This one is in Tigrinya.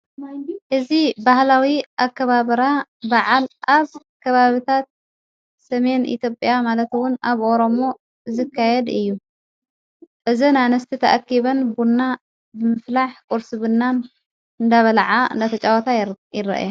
እዝ ባህላዊ ኣከባብራ በዓል ኣፍ ከባብታት ሰሜን ኢቶጵኣ ማለትውን ኣብ ኦሮሞ ዝካየድ እዩ እዝ ናነስቲ ተኣኪበን ቡና ብምፍላሕ ቊርስብናን እዳበለዓ ነተጨወታ ይረአያ።